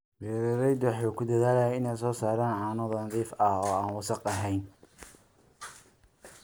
Beeraleydu waxay ku dadaalaan inay soo saaraan caano nadiif ah oo aan wasakh ahayn.